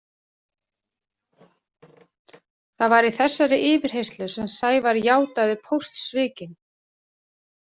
Það var í þessari yfirheyrslu sem Sævar játaði póstsvikin.